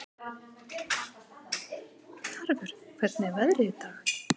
Tarfur, hvernig er veðrið í dag?